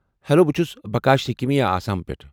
Hello! بہٕ چھٗس بکاش سیکیا آسامہٕ پٮ۪ٹھٕہٕ ۔